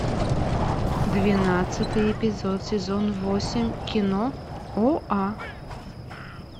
двенадцатый эпизод сезон восемь кино оа